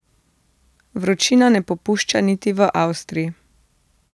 Vročina ne popušča niti v Avstriji.